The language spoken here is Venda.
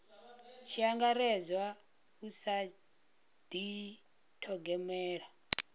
tshi angaredzwa u sa dithogomela